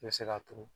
I bɛ se k'a turu